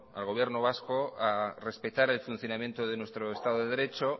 al gobierno vasco a respetar el funcionamiento de nuestro estado de derecho